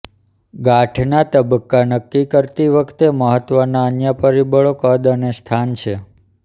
ગાંઠના તબક્કા નક્કી કરતી વખતે મહત્વના અન્ય પરિબળો કદ અને સ્થાન છે